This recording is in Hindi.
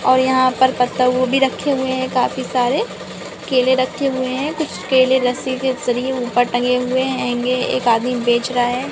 यहां पर पत्ता गोभी भी रखे हुए है काफी सारे केले रखे हुए हैं कुछ केले रस्सी के जरिए ऊपर टंगे हुए हेंगे एक आदमी बेच रहा है।